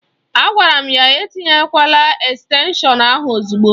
A gwara ya etinyekwala estenshọn ahụ ozugbo